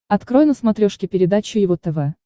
открой на смотрешке передачу его тв